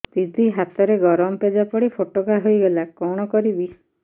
ଦିଦି ହାତରେ ଗରମ ପେଜ ପଡି ଫୋଟକା ହୋଇଗଲା କଣ କରିବି